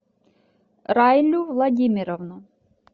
райлю владимировну